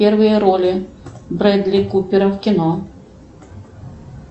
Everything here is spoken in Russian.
первые роли бредли купера в кино